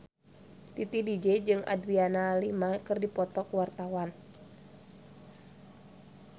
Titi DJ jeung Adriana Lima keur dipoto ku wartawan